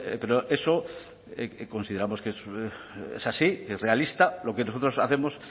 pero eso consideramos que es así es realista lo que nosotros hacemos